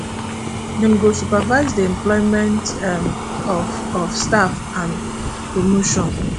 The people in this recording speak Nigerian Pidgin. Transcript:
dem go supervise di employment um of of staff and and promotion